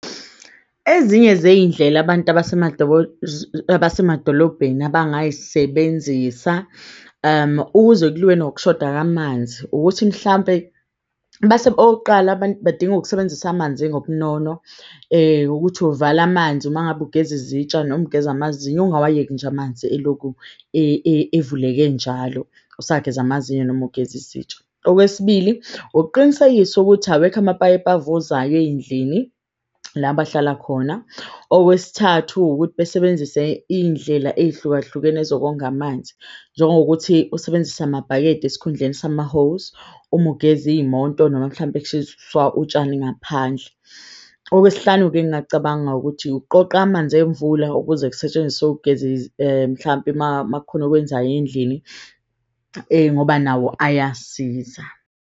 Ezinye zey'ndlela abantu abasemadolobheni abangay'sebenzisa ukuze kuliwe nokushoda kwamanzi. Ukuthi mhlampe okokuqala, abantu badinga ukusebenzisa amanzi ngobunono . Ukuthi uvale amanzi uma ngabe ugeza izitsha noma ugeza amazinyo. Ungawayeki nje amanzi elokhu evuleke njalo usageza amazinyo noma ugeza izitsha. Okwesibili ukuqinisekisa ukuthi awekho amapayipi avuzayo ey'ndlini, la bahlala khona. Okwesithathu ukuthi besebenzise iy'ndlela ey'hlukahlukene zokonga amanzi. Njengokuthi usebenzise amabhakede esikhundleni sama-hose uma ugeze iy'moto noma mhlampe utshani ngaphandle. Okwesihlanu-ke, engakucabanga ukuthi uqoqe amanzi emvula ukuze kusetshenziswe. Mhlampe makukhona okwenzayo endlini ngoba nawo ayasiza.